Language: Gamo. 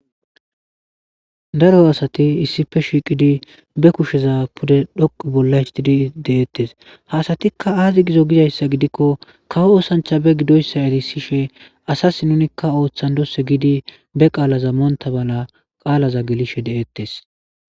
Daro asati issippe shiqidi bekusheza pude dhoqu bolla histidi detes ha asatika azi gizo gizaysa gidikko kawo osancha be gidoysa erisishe asasi nunika othandose gidi be qala monta mala qalaza gelishe detes